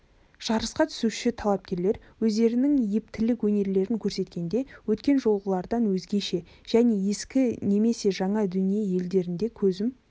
жарысқа түсуші талапкерлер өздерінің ептілік өнерлерін көрсеткенде өткен жолғылардан өзгеше және ескі немесе жаңа дүние елдерінде көзім